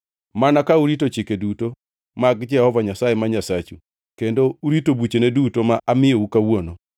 mana ka urito chike duto mag Jehova Nyasaye ma Nyasachu, kendo urito buchene duto ma amiyou kawuono.